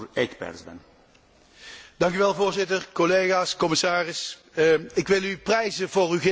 Voorzitter, collega's, commissaris, ik wil u prijzen voor uw geïntegreerde aanpak van dit voorstel.